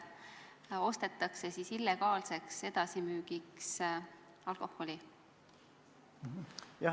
Vahest ostetakse sealt alkoholi illegaalseks edasimüügiks?